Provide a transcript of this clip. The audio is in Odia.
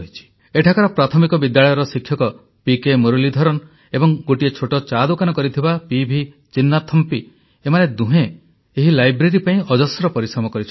ଏଠାକାର ପ୍ରାଥମିକ ବିଦ୍ୟାଳୟର ଶିକ୍ଷକ ପିକେ ମୁରଲୀଧରନ୍ ଏବଂ ଗୋଟିଏ ଛୋଟ ଚା ଦୋକାନ କରିଥିବା ପିଭି ଚିନ୍ନାଥମ୍ପି ଏମାନେ ଦୁହେଁ ଏହି ଲାଇବ୍ରେରୀ ପାଇଁ ଅଜସ୍ର ପରିଶ୍ରମ କରିଛନ୍ତି